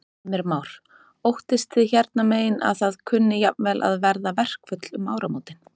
Heimir Már: Óttist þið hérna megin að það kunni jafnvel að verða verkföll um áramótin?